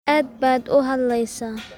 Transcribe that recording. Aad baad uu hadleysaa